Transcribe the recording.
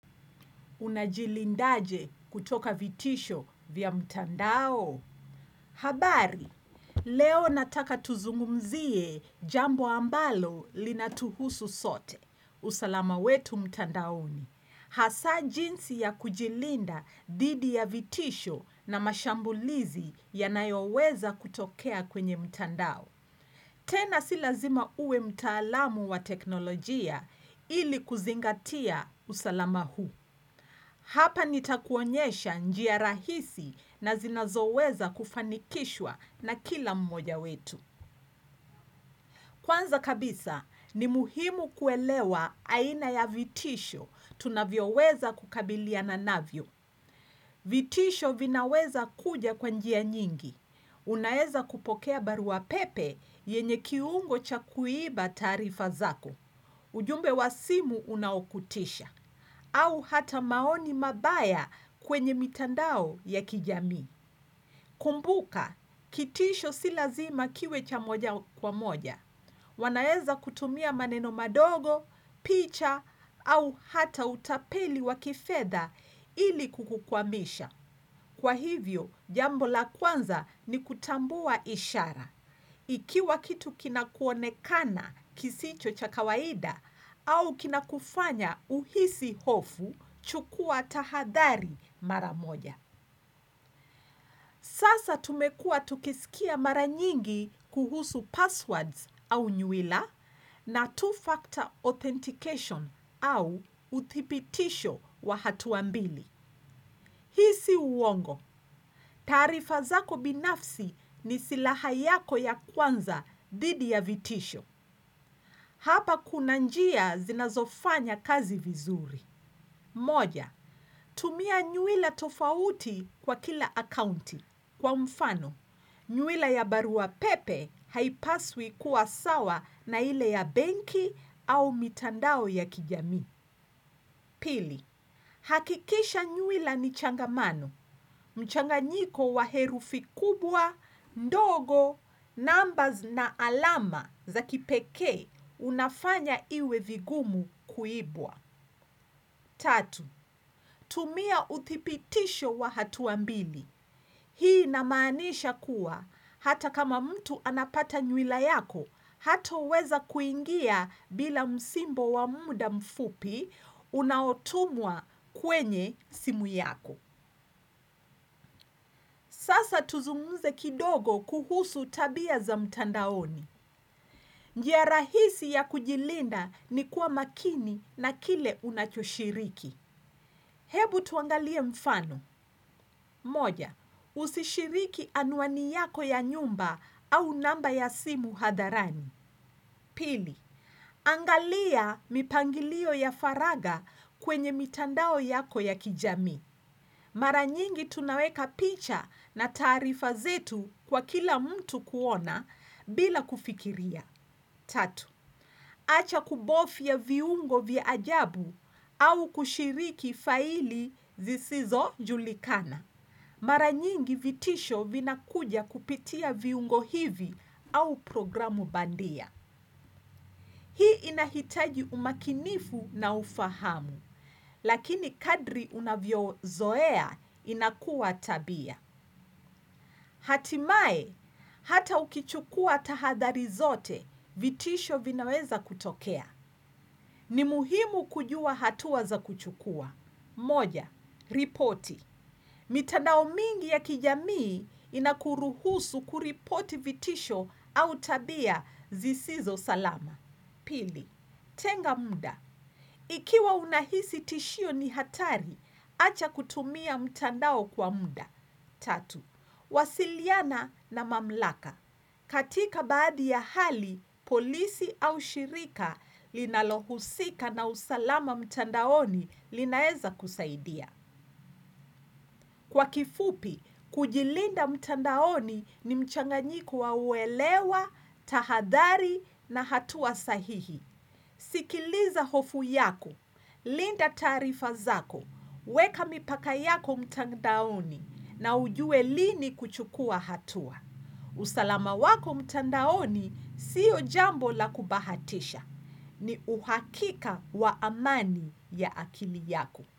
Unajilindaje kutoka vitisho vya mtandao. Habari, leo nataka tuzungumzie jambo ambalo linatuhusu sote. Usalama wetu mtandaoni. Hasa jinsi ya kujilinda dhidi ya vitisho na mashambulizi yanayoweza kutokea kwenye mtandao. Tena si lazima uwe mtaalamu wa teknolojia ili kuzingatia usalama huu. Hapa nitakuonyesha njia rahisi na zinazoweza kufanikishwa na kila mmoja wetu. Kwanza kabisa ni muhimu kuelewa aina ya vitisho tunavyoweza kukabiliana navyo. Vitisho vinaweza kuja kwa njia nyingi. Unaeza kupokea baruapepe yenye kiungo cha kuiba taarifa zako. Ujumbe wa simu unaokutisha. Au hata maoni mabaya kwenye mitandao ya kijamii. Kumbuka, kitisho si lazima kiwe cha moja kwa moja. Wanaeza kutumia maneno madogo, picha au hata utapeli wa kifedha ili kukukwamisha. Kwa hivyo, jambo la kwanza ni kutambua ishara. Ikiwa kitu kina kuonekana kisicho cha kawaida au kina kufanya uhisi hofu chukua tahadhari mara moja. Sasa tumekuwa tukisikia mara nyingi kuhusu passwords au nywila na two-factor authentication au uthibitisho wa hatua mbili. Hii si uwongo. Taarifa zako binafsi ni silaha yako ya kwanza dhidi ya vitisho. Hapa kuna njia zinazofanya kazi vizuri. Moja, tumia nywiila tofauti kwa kila akaunti. Kwa mfano, nywila ya baruapepe haipaswi kuwa sawa na ile ya benki au mitandao ya kijamii. Pili, hakikisha nywila ni changamano. Mchanganyiko wa herufi kubwa, ndogo, numbers na alama za kipekee unafanya iwe vigumu kuibwa. Tatu tumia uthibitisho wa hatua mbili. Hii inamaanisha kuwa hata kama mtu anapata nywila yako, hatoweza kuingia bila msimbo wa muda mfupi unaotumwa kwenye simu yako. Sasa tuzungumze kidogo kuhusu tabia za mtandaoni. Njia rahisi ya kujilinda ni kuwa makini na kile unachoshiriki. Hebu tuangalie mfano. Moja, usishiriki anuani yako ya nyumba au namba ya simu hadharani. Pili, angalia mipangilio ya faraga kwenye mitandao yako ya kijami. Mara nyingi tunaweka picha na taarifa zetu kwa kila mtu kuona bila kufikiria. Tatu acha kubofya viungo vya ajabu au kushiriki faili zisizojulikana. Mara nyingi vitisho vinakuja kupitia viungo hivi au programu bandia. Hii inahitaji umakinifu na ufahamu, lakini kadri unavyozoea inakuwa tabia. Hatimae, hata ukichukua tahadhari zote vitisho vinaweza kutokea. Ni muhimu kujua hatua za kuchukua. Moja, ripoti. Mitandao mingi ya kijamii inakuruhusu kuripoti vitisho au tabia zisizo salama. Pili, tenga muda. Ikiwa unahisi tishio ni hatari, acha kutumia mtandao kwa muda. Tatu wasiliana na mamlaka. Katika baadhi ya hali, polisi au shirika linalohusika na usalama mtandaoni linaeza kusaidia. Kwa kifupi, kujilinda mtandaoni ni mchanganyiko wa uelewa, tahadhari na hatua sahihi. Sikiliza hofu yako, linda taarifa zako, weka mipaka yako mtandaoni na ujue lini kuchukua hatua. Usalama wako mtandaoni, sio jambo la kubahatisha, ni uhakika wa amani ya akili yako.